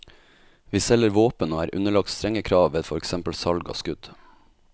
Vi selger våpen og er underlagt strenge krav ved for eksempel salg av skudd.